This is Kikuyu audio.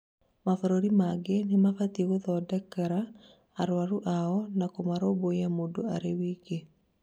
mabũrũri mangĩ nĩmambĩtie gũthondekera arũarũ ao na kumarũmbũiya mũndũ arĩ wiki